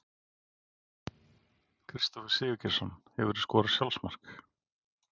Kristófer Sigurgeirsson Hefurðu skorað sjálfsmark?